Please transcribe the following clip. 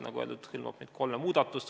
Nagu öeldud, see hõlmab neid kolme muudatust.